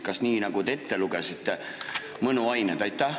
Kas nii, nagu te ütlesite: mõnuained?